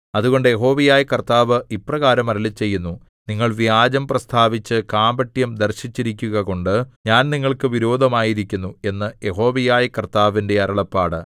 അതുകൊണ്ട് യഹോവയായ കർത്താവ് ഇപ്രകാരം അരുളിച്ചെയ്യുന്നു നിങ്ങൾ വ്യാജം പ്രസ്താവിച്ച് കാപട്യം ദർശിച്ചിരിക്കുകകൊണ്ട് ഞാൻ നിങ്ങൾക്ക് വിരോധമായിരിക്കുന്നു എന്ന് യഹോവയായ കർത്താവിന്റെ അരുളപ്പാട്